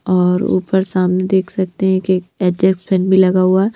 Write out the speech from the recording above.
और ऊपर सामने देख सकते हैंकि एक एज फैन भी लगा हुआ है।